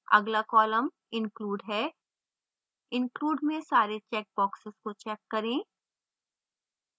अगला column include है include में सारे check boxes को check करें